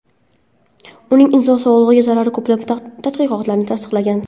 Uning inson sog‘lig‘iga zarari ko‘plab tadqiqotlarda tasdiqlangan .